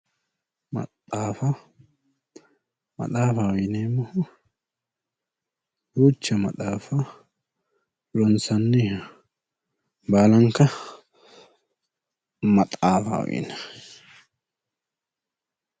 Maxaafa, maxaafaho yineemmohu duucha maxaafa ronsanniha baalanka maxaafaho yinayi.